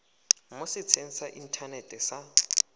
mo setsheng sa inthanete sa